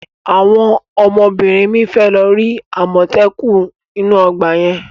Àwọn ọmọbìnrin mi fẹ́ lọ rí àmọ́tẹ́kùn inú ọgbà yẹn.